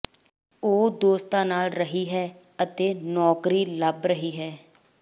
ਉਹ ਦੋਸਤਾਂ ਨਾਲ ਰਹੀ ਹੈ ਅਤੇ ਨੌਕਰੀ ਲੱਭ ਰਹੀ ਹੈ